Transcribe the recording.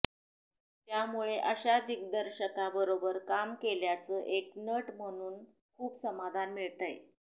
त्यामुळे अशा दिग्दर्शकाबरोबर काम केल्याचं एक नट म्हणून खूप समाधान मिळतंय